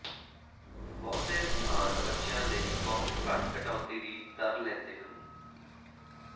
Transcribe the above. ਬਹੁਤੇ ਸਥਾਨ ਬੱਚਿਆਂ ਲਈ ਬਹੁਤ ਘੱਟ ਕਟੌਤੀ ਦੀ ਦਰ ਲੈਂਦੇ ਹਨ